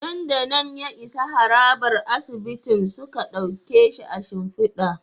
Nan da nan ya isa harabar asibitin suka dauke shi a shimfida